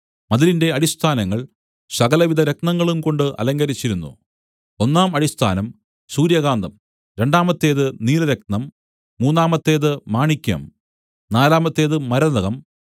മതിലിന്റെ അടിസ്ഥാനങ്ങൾ സകലവിധ രത്നങ്ങളുംകൊണ്ട് അലങ്കരിച്ചിരുന്നു ഒന്നാം അടിസ്ഥാനം സൂര്യകാന്തം രണ്ടാമത്തേത് നീലരത്നം മൂന്നാമത്തേതു മാണിക്യം നാലാമത്തേത് മരതകം